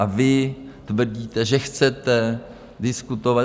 A vy tvrdíte, že chcete diskutovat.